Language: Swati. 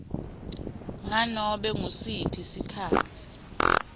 nganobe ngusiphi sikhatsi